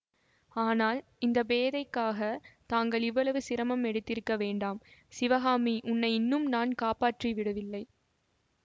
ஆனால் இந்த பேதைக்காகத் தாங்கள் இவ்வளவு சிரமம் எடுத்திருக்க வேண்டாம் சிவகாமி உன்னை இன்னும் நான் காப்பாற்றி விடவில்லை